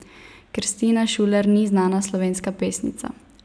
Kristina Šuler ni znana slovenska pesnica.